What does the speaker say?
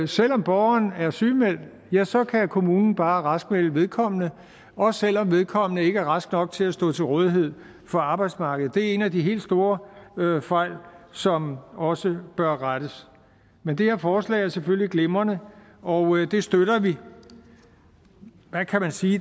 selv om borgeren er sygemeldt så kan kommunen bare raskmelde vedkommende også selv om vedkommende ikke er rask nok til stå til rådighed for arbejdsmarkedet det er en af de helt store fejl som også bør rettes men det her forslag er selvfølgelig glimrende og det støtter vi man kan vel sige